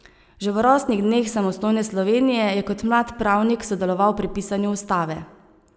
Že v rosnih dneh samostojne Slovenije je kot mlad pravnik sodeloval pri pisanju ustave.